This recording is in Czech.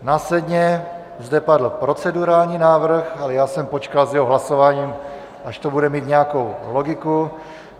Následně zde padl procedurální návrh, ale já jsem počkal s jeho hlasováním, až to bude mít nějakou logiku.